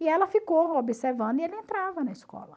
E ela ficou observando e ele entrava na escola.